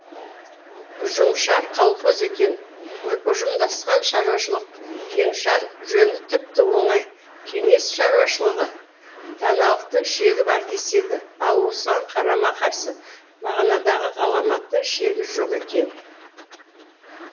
ұжымшар колхоз екен ұжымдасқан шаруашылық кеңшар жөні тіпті оңай кеңес шаруашылығы даналықтың шегі бар деседі ал осыған қарама қарсы мағынадағы ғаламаттың шегі жоқ екен